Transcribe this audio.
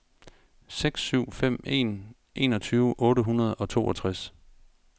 seks syv fem en enogtyve otte hundrede og toogtres